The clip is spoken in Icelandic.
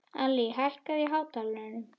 Allý, hækkaðu í hátalaranum.